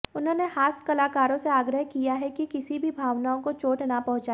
उन्होंने हास्य कलाकारों से आग्रह किया है कि किसी की भावनाओं को चोट ना पहुंचाएं